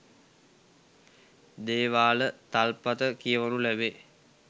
දේවාල තල්පත කියවනු ලැබේ.